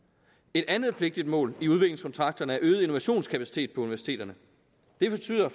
et andet vigtigt mål i udviklingskontrakterne er øget innovationskapacitet på universiteterne det betyder